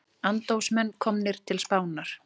Andófsmenn komnir til Spánar